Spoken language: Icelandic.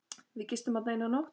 Við gistum þarna eina nótt.